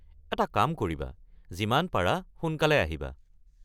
এটা কাম কৰিবা, যিমান পাৰা সোনকালে আহিবা।